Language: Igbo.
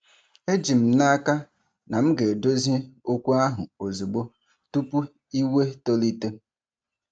Eji m n'aka na m ga-edozi okwu ahụ ozugbo, tupu iwe tolite.